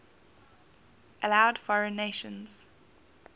allowed foreign nations